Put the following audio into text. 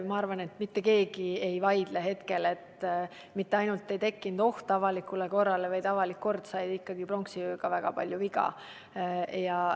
Ma arvan, et mitte keegi ei vaidle hetkel vastu, et ei tekkinud mitte ainult ohtu avalikule korrale, vaid avalik kord sai pronksiöö käigus ka väga palju viga.